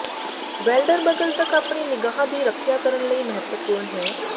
welder ਬਗਲ ਤੱਕ ਆਪਣੇ ਨਿਗਾਹ ਦੀ ਰੱਖਿਆ ਕਰਨ ਲਈ ਮਹੱਤਵਪੂਰਨ ਹੈ